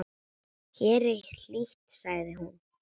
Hér er hlýtt, sagði hún.